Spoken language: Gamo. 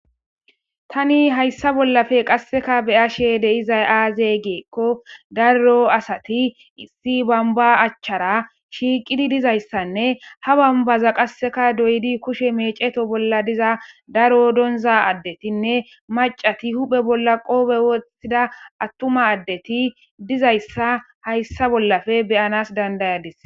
tani hayssa bollafe qasseka beyashe deizay aaze geekko daro asati issi bamba achchara shiiqidi dizayssanne ha bambaza qasseka doydi kushe meceto bolla diza daro donza addetinne macati huphe bolla qoobe woththida attuma addeti dizayssa hayssa bollafe beyanas dandayadis